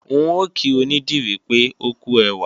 N ò kí onídìrí pé ókú ẹwà